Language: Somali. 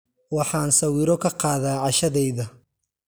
Waxaan sawiro ka qaadaa cashadayda.